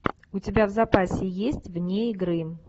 у тебя в запасе есть вне игры